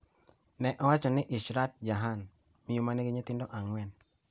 ne owacho ni Ishrat Jahan, miyo ma nigi nyithindo ang'wen